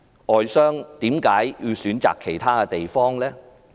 外商為何選擇其他地方？